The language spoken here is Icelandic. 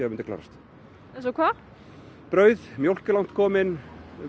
að myndi klárast eins og hvað brauð mjólk er langt komin